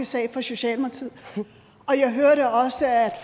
sag for socialdemokratiet jeg hørte også at